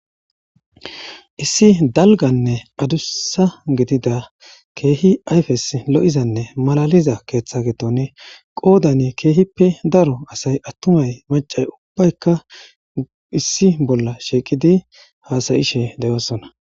issi dalganne adussa gidida keehi ayfes lo7izanne malaliza keeththa getonne qoodany keehippe daro asay attumay macay ubbaykka issi bolla shieqidi haasayishe deyoosona